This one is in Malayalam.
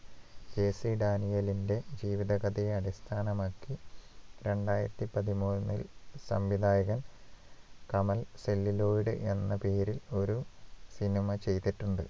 JC ഡാനിയേലിന്റെ ജീവിത കഥയെ അടിസ്ഥാനമാക്കി രണ്ടായിരത്തിപതിമൂന്നിൽ സംവിധായകൻ കമൽ celluloid എന്ന പേരിൽ ഒരു സിനിമ ചെയ്തിട്ടുണ്ട്